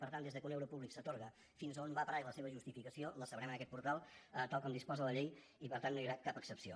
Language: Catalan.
per tant des que un euro públic s’atorga fins a on va parar i la seva justificació ho sabrem en aquest portal tal com disposa la llei i per tant no hi haurà cap excepció